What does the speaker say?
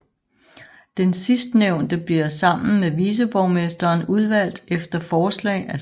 Den sidstnævnte bliver sammen med viceborgmesteren udvalgt efter forslag af statspræsidenten og dernæst valgt af byparlamentet